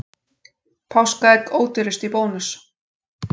Páskaegg ódýrust í Bónus